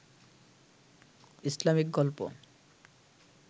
Islamic গল্প